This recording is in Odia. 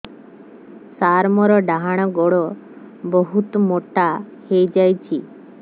ସାର ମୋର ଡାହାଣ ଗୋଡୋ ବହୁତ ମୋଟା ହେଇଯାଇଛି